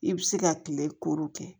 I bɛ se ka kile koro kɛ